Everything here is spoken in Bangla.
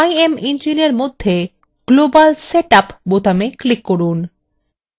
imengine এর মধ্যে global setup বোতামে click করুন